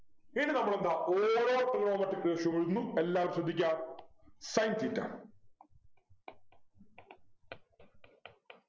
ഇനി നമ്മളെന്താ ഓരോ trigonometric ratio കളിന്നും എല്ലാരും ശ്രദ്ധിക്കാ Sin theta